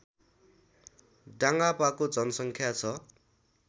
डाङापाको जनसङ्ख्या छ